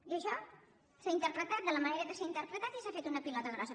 i això s’ha interpretat de la manera que s’ha interpretat i s’ha fet una pilota grossa